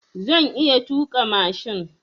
Na iya tuƙa mashin.